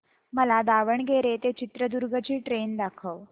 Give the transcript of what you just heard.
मला दावणगेरे ते चित्रदुर्ग ची ट्रेन दाखव